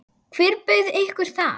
Hver bauð ykkur það?